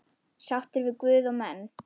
Sáttur við guð og menn.